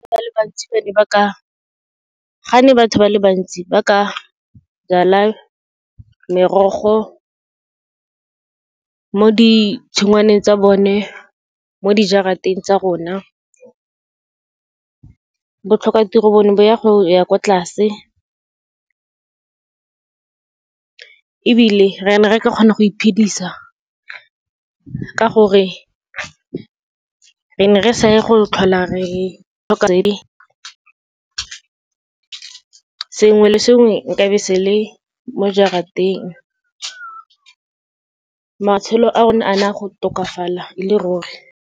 Ga ne batho ba le bantsi, ba ka jala merogo mo ditshingwaneng tsa bone, mo dijarateng tsa rona. Botlhokatiro bone bo ya go ya kwa tlase, ebile re ne re ka kgona go iphedisa, ka gore re ne re sa ye go tlhola re tlhoka , sengwe le sengwe nka be se le mo jarateng. Matshelo a rona a na go tokafala e le ruri.